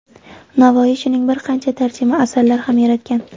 Navoiy shuning bir qancha tarjima asarlar ham yaratgan.